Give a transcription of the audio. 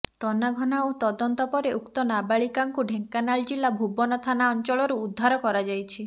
ତନାଘନା ଓ ତଦନ୍ତ ପରେ ଉକ୍ତ ନାବାଳିକାଙ୍କୁ ଢ଼େଙ୍କାନାଳ ଜିଲ୍ଲା ଭୁବନ ଥାନା ଅଞ୍ଚଳରୁ ଉଦ୍ଧାର କରାଯାଇଛି